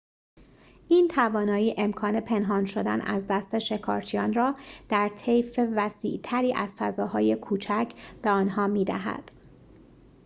این توانایی امکان پنهان شدن از دست شکارچیان را در طیف وسیع‌تری از فضاهای کوچک به آنها می‌دهد